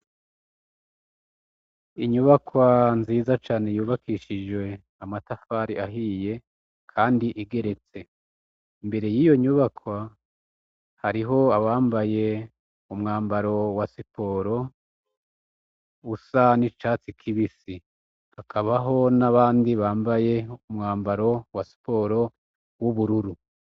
Inyubakwa nziza cane yubakishijwe amatafari ahiye kandi igeretse imbere yiyonyubakwa hariho abambaye umwambaro wasiporo usa nicatsi kibisi hakaba nabandi bambaye umwambaro wasiporo wubururu